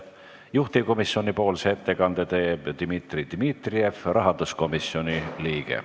Juhtivkomisjoni ettekande teeb Dmitri Dmitrijev, rahanduskomisjoni liige.